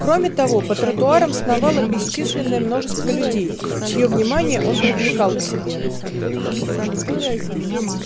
кроме того по тротуарам сновало бесчисленное множество людей чьё внимание он привлекал к себе